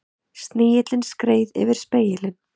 Snigillinn skreið yfir spegilinn.